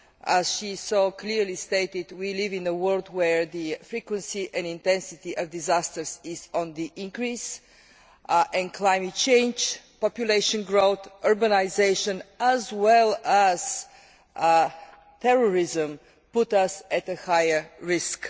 As she so clearly stated, we live in a world where the frequency and intensity of disasters is on the increase, and climate change, population growth and urbanisation, as well as terrorism, put us at a higher risk.